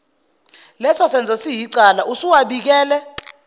lesosenzo siyicala usuwabikele